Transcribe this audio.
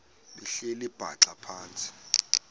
behleli bhaxa phantsi